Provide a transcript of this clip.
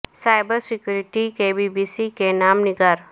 cyber security کے B B C کے نامہ نگار